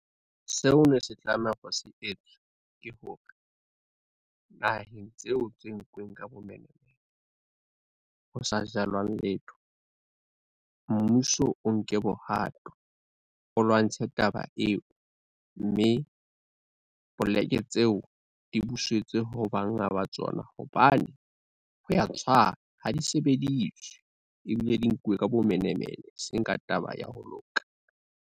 Seo ne se tlameha hore se etswe, ke hore naheng tseo tse nkuweng ka bomenemene, ho sa jalwang letho, mmuso o nke bohato o lwantshe taba eo, mme poleke tseo di busetswe ho banga ba tsona hobane ho ya tshwana ha di sebediswe ebile di nkuwe ka bomenemene e seng ka taba ya ho loka.